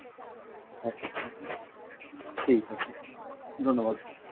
আচ্ছা ঠিক আছে ধন্যবাদ।